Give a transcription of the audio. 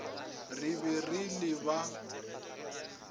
re be re le ba